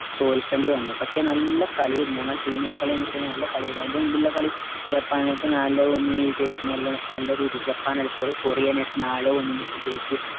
തോൽക്കണ്ടി വന്നു പക്ഷേ നല്ല കളിയെർന്നു ഞങ്ങളെ team ന്റെ കളിയെന്നചനല്ല കളിയർന്നു അയിന്റെ മുന്നിലുള്ള കളി ജപ്പാനായിട്ട് നാലേ ഒന്നിനു വിജയിച്ചു നല്ല നല്ലരീതിയിൽ ജപ്പാൻ അല്ല sorry coriyan ആയിട്ട് നാലേ ഒന്നിനു വിജയിച്ചു